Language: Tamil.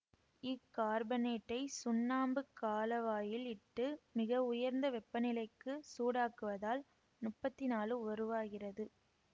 இக்கார்பனேட்டை சுண்ணாம்புக் காளவாயில் இட்டு மிகவுயர்ந்த வெப்பநிலைக்கு சூடாக்குவதால் முப்பத்தி நாழு உருவாகிறது